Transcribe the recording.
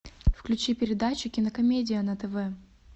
включи передачу кинокомедия на тв